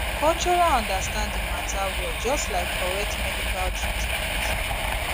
cultural understanding matter well just like correct medical treatment